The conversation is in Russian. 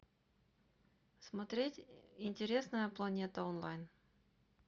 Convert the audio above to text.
смотреть интересная планета онлайн